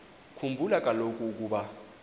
khumbula kaloku ukuba